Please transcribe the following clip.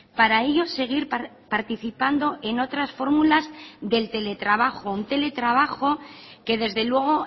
para ello seguir participando en otras fórmulas del teletrabajo un teletrabajo que desde luego